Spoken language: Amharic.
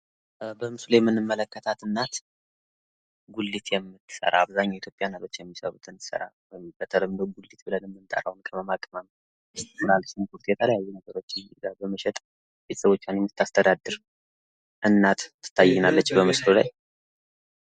በምስሉ ላይ የምንመለከታት እናት ጉሊት የምትሰራ አብዛኞቹ የኢትዮጵያ እናቶች የሚሰሩትን ስራ በተለምዶ ጉሊት ብለን የምንጠራውን ቅመማ ቅመም ፣ሽንኩርት የተለያዩ ነገሮችን በመሸጥ ቤተሰቦቿን የምታስተዳድር እናት ትታየናለች በምስሉ ላይ።